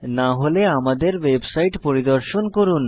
না হলে আমাদের ওয়েবসাইট পরিদর্শন করুন